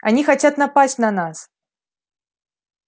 они хотят напасть на нас